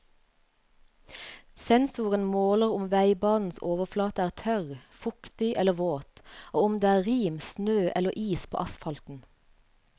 Sensoren måler om veibanens overflate er tørr, fuktig eller våt, og om det er rim, snø eller is på asfalten.